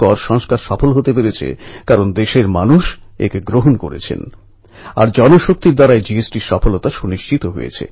ইনি বার্লিনে প্যারাঅ্যাথলেটিকদের গ্রাঁ প্রিতে ডিস্কাস থ্রোয়িংয়ে বিশ্বরেকর্ড করে স্বর্ণপদক জিতেছেন